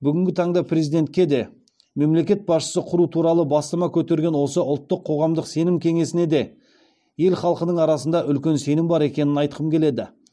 бүгінгі таңда президентке де мемлекет басшысы құру туралы бастама көтерген осы ұлттық қоғамдық сенім кеңесіне де ел халқының арасында үлкен сенім бар екенін айтқым келеді